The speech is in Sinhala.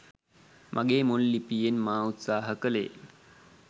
මගේ මුල් ලිපියෙන් මා උත්සාහ කළේ